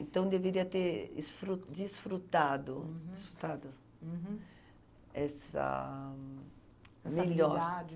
Então deveria ter esfru, desfrutado. Uhum. Desfrutado? Uhum. Essa... melhor.